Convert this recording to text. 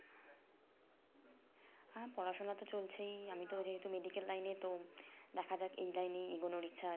হ্যাঁ পড়াশোনা তো চলছেই আমি তো যেহেতু medical line এ তো দেখা এই লাইনেই এগুলোর